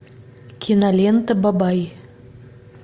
кинолента бабай